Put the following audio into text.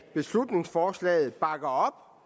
beslutningsforslaget bakker op